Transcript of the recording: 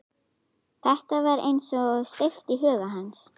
Þetta var eins og steypt í huga hans.